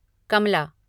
कमला